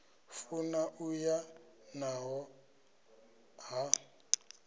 funa u ya naḽo ḽa